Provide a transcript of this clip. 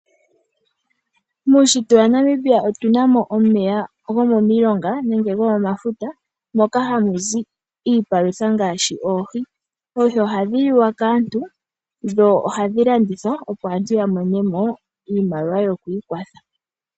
Muunshitwe waNamibia otu na mo omeya gomomilonga, nenge gomomafuta, moka hamu zi iipalutha ngaashi oohi. Oohi ohadhi liwa kaantu, dho ohadhi landithwa, opo aantu ya mone mo iimaliwa yokwiikwatha.